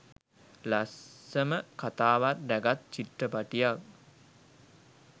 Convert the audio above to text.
ලස්සම කතාවක් රැගත් චිත්‍රපටියක්.